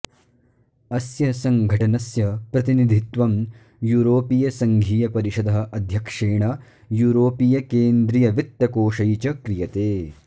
अस्य सङ्घटनस्य प्रतिनिधित्वं यूरोपीयसङ्घीयपरिषदः अध्यक्षेण यूरोपीयकेन्द्रियवित्तकोषै च क्रियते